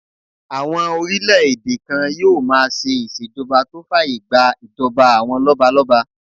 Àwọn orílẹ̀-èdè kan yóò máa ṣe ìṣèjọba tó fàyè gbà ìjọba àwọn lọ́balọ́ba